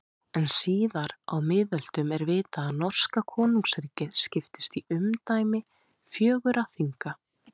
En síðar á miðöldum er vitað að norska konungsríkið skiptist í umdæmi fjögurra þinga.